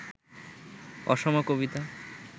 অসম কবিতা